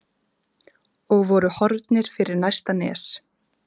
og voru horfnir fyrir næsta nes.